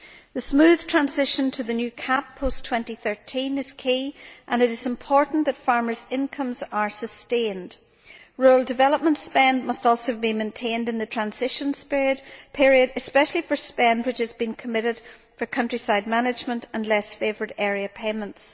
The smooth transition to the new CAP post 2013 is key, and it is important that farmers' incomes are sustained. Rural development spending must also be maintained in the transition period, especially for spending which has been earmarked for countryside management and less favoured area payments.